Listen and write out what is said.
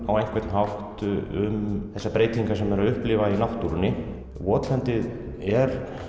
á einhvern hátt um þær breytingar sem við erum að upplifa í náttúrunni votlendið er